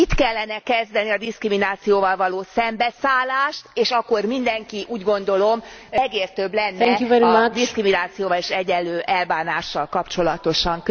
Itt kellene kezdeni a diszkriminációval való szembeszállást, és akkor mindenki úgy gondolom, megértőbb lenne a diszkriminációval és egyenlő elbánással kapcsolatosan.